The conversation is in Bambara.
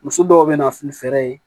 Muso dɔw be na ni fɛɛrɛ ye